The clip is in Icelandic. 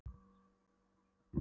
Stundum heyrði ég hana raula með